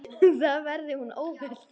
Þar verði hún óhult.